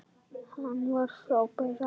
Hann var frábær afi.